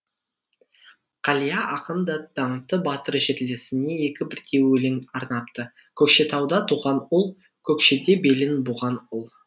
қалия ақын да даңқты батыр жерлесіне екі бірдей өлең арнапты көкшетауда туған ұл көкшеде белін буған ұл